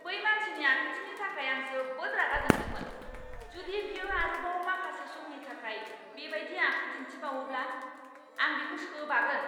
बै मानसिनि आखुथिनि थाखाय आं जोबोद रागा जोंदोंमोन। जुदि बियो आरोबाव माखासे समनि थाखाय बेबायदि आखु दिन्थिबावोब्ला, आं बिखौ सोबागोन।